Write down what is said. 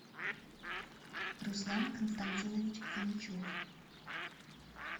руслан константинович фомичев